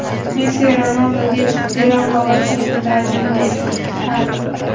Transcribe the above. Messi Ronalduga jiddiy raqobat ko‘rsatadi”, – dedi Xavi.